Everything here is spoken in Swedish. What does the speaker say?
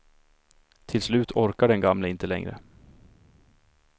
Till slut orkar den gamle inte längre.